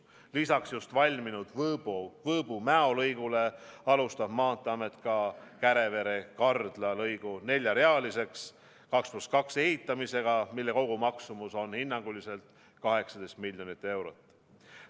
Lisaks just valminud Võõbu–Mäo lõigule alustab Maanteeamet ka Kärevere–Kardla lõigu neljarealiseks – 2 + 2 –, ehitamist, mille kogumaksumus on hinnanguliselt 18 miljonit eurot.